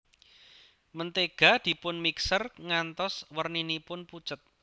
Mentega dipun mixer ngantos werninipun pucet